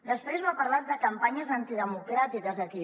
després m’ha parlat de campanyes antidemocràtiques aquí